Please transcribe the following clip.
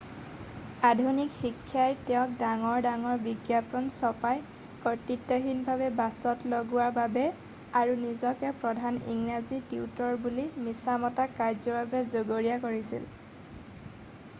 আধুনিক শিক্ষাই তেওঁক ডাঙৰ ডাঙৰ বিজ্ঞাপন ছপাই কৰ্তৃত্বহীনভাৱে বাছত লগোৱা বাবে আৰু নিজকে প্ৰধান ইংৰাজী টিউটৰ বুলি মিছা মতা কাৰ্যৰ বাবে জগৰীয়া কৰিছিল